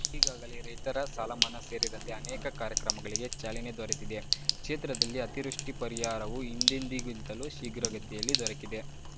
ಈಗಾಗಲೇ ರೈತರ ಸಾಲಮನ್ನಾ ಸೇರಿದಂತೆ ಅನೇಕ ಕಾರ್ಯಕ್ರಮಗಳಿಗೆ ಚಾಲನೆ ದೊರೆತಿದೆ ಕ್ಷೇತ್ರದಲ್ಲಿ ಅತಿವೃಷ್ಟಿಪರಿಹಾರವು ಹಿಂದೆಂದಿಗಿಂತಲೂ ಶೀಘ್ರಗತಿಯಲ್ಲಿ ದೊರಕಿದೆ